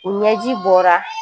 U ɲɛji bɔra